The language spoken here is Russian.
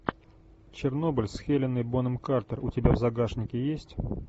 чернобыль с хеленой бонэм картер у тебя в загашнике есть